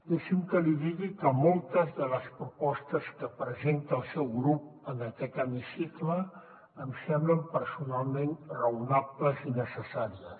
deixi’m que li digui que moltes de les propostes que presenta el seu grup en aquest hemicicle em semblen personalment raonables i necessàries